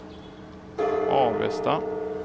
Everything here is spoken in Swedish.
Avesta